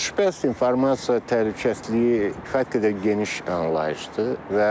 Şübhəsiz informasiya təhlükəsizliyi kifayət qədər geniş anlayışdır və